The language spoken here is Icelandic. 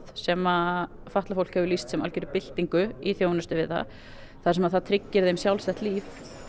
sem fatlað fólk hefur lýst sem algjörri byltingu í þjónustu við það þar sem það tryggir því sjálfstætt líf